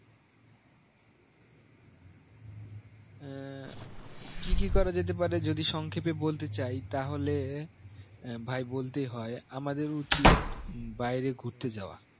আহ কি কি করা যেতে পারে যদি সংক্ষেপে বলতে চাই তাহলে ভাই বলতে হয়ে আমাদের উচিত বাইরে ঘুরতে যাওয়া